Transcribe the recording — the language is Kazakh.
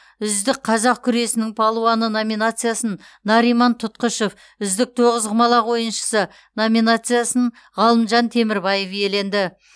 үздік қазақ күресінің балуаны номинациясын нариман тұтқышев үздік тоғызқұмалақ ойыншысы номинациясын ғалымжан темірбаев иеленді